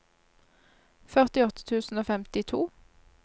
førtiåtte tusen og femtito